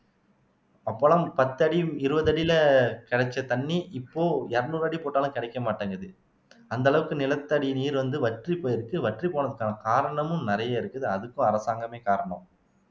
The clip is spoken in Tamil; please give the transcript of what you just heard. அப்பல்லாம் பத்து அடி இருபது அடியில கிடைச்ச தண்ணி இப்போ இருநூறு அடி போட்டாலும் கிடைக்க மாட்டேங்குது அந்த அளவுக்கு நிலத்தடி நீர் வந்து வற்றி போயிருச்சு வற்றிப்போனதுக்கான காரணமும் நிறைய இருக்குது அதுக்கும் அரசாங்கமே காரணம்